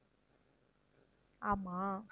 ஆமாம்